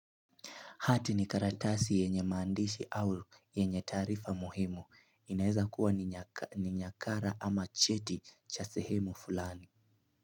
Hati ni karatasi yenye maandishi au yenye taarifa muhimu. Inaweza kuwa ni nyakara ama cheti cha sehemu fulani.